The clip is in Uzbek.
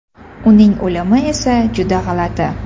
Uning o‘limi esa juda g‘alati.